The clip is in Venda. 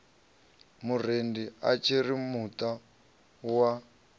murendi a tshiri muta wa